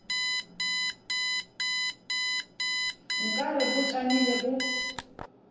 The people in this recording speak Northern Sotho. nka re bo tšamile bo